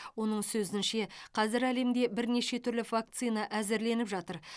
оның сөзінше қазір әлемде бірнеше түрлі вакцина әзірленіп жатыр